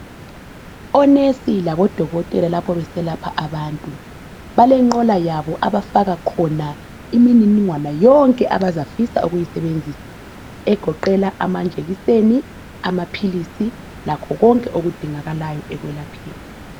Onesi labo dokotela lapho beselapha abantu balenqola yabo abafaka khona imininingwana yonke abazafisa ukuyisebenzisa egoqela amajekiseni, amaphilisi lakho konke okudingakalayo ekwelapheni.